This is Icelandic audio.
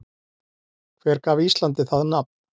Hver gaf Íslandi það nafn?